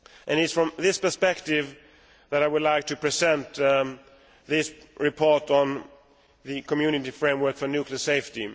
It is from this perspective that I would like to present this report on the Community framework for nuclear safety.